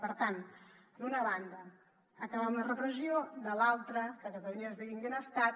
per tant d’una banda acabar amb la repressió de l’altra que catalunya esdevingui un estat